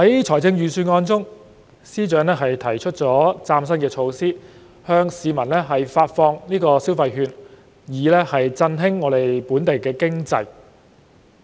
在預算案中，司長提出嶄新措施，向市民派發消費券以振興本地經濟。